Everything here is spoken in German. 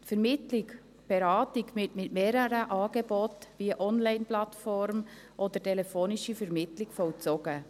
Die Vermittlung, die Beratung mit mehreren Angeboten, wie Onlineplattform oder telefonischer Vermittlung, ist vollzogen.